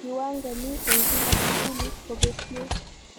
Kiwango ni eng kila skulit kobetie